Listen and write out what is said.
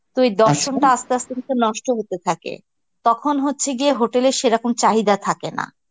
তো ওই দর্শনটা আস্তে আস্তে কিন্তু নষ্ট হতে থাকে, তখন হচ্ছে গিয়ে hotel এ সেরকম চাহিদা থাকে না.